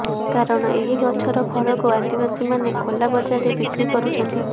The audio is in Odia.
କାରଣ ଏହି ଗଛର ଫଳକୁ ଆଦିବାସୀମାନେ ଖୋଲା ବଜାରରେ ବିକ୍ରି କରୁଛନ୍ତି